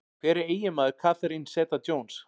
Hver er eiginmaður Catherine Zeta-Jones?